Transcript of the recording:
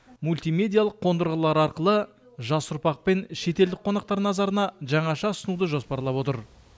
мультимедиялық қондырғылар арқылы жас ұрпақ пен шетелдік қонақтар назарына жаңаша ұсынуды жоспарлап отыр